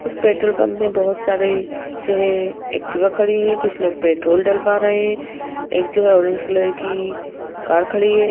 इस petrol pump में बहुत सारे जो है एक्टिवा खड़ी हैं कुछ लोग पेट्रोल डलवा रहे हैं एक जो है ऑरेंज कलर की कार खड़ी है।